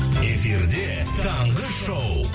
эфирде таңғы шоу